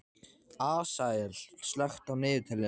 Asael, slökktu á niðurteljaranum.